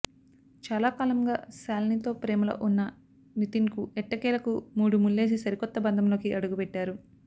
చాలా కాలంగా శాలినితో ప్రేమలో ఉన్న నితిన్కు ఎట్టకేలకు మూడు ముళ్లేసి సరికొత్త బంధంలోకి అడుగుపెట్టారు